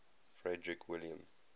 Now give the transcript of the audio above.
frederick william